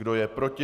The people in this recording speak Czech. Kdo je proti?